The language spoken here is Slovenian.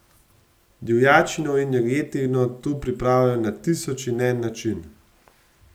Divjačino in jagnjetino tu pripravljajo na tisoč in en način.